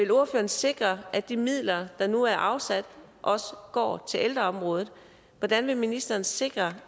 ordføreren sikre at de midler der nu er afsat også går til ældreområdet hvordan vil ministeren sikre